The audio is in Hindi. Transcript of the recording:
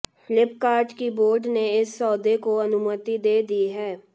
फ्लिपकार्ट की बोर्ड ने इस सौदे को अनुमति दे दी है